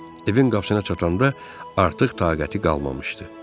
Evin qapısına çatanda artıq taqəti qalmamışdı.